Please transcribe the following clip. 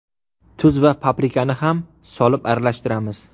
Tuz va paprikani ham solib aralashtiramiz.